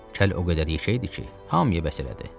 Kəl o qədər yekə idi ki, hamıya bəs elədi.